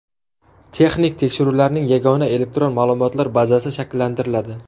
Texnik tekshiruvlarning yagona elektron ma’lumotlar bazasi shakllantiriladi.